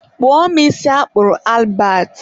kpụọ mụ isi a kpụrụ Albert.